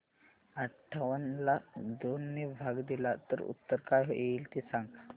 अठावन्न ला दोन ने भाग दिला तर उत्तर काय येईल ते सांगा